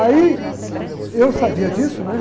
Aí, e eu sabia disso, né?